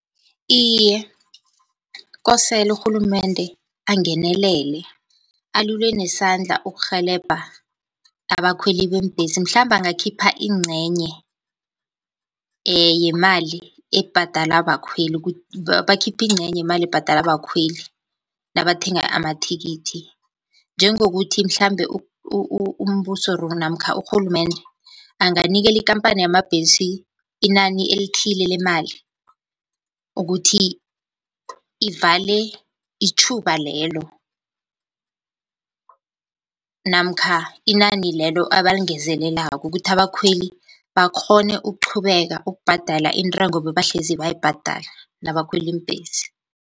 Iye, kosele urhulumende angenelele alule nesandla ukurhelebha abakhweli beembhesi mhlambe angakhipha incenye yemali ebhadalwa bakhweli bakhiphe incenye yemali ebhadalwa bakhweli nabathenga amathikithi. Njengokuthi mhlambe umbuso or namkha urhulumende anganikela ikampani yamabhesi inani elithile lemali, ukuthi ivale itjhuba lelo namkha inani lelo abalingezelelako ukuthi abakhweli bakghone ukuqhubeka ukubhadala intengo bebahlezi bayibhadala nabakhwela iimbhesi.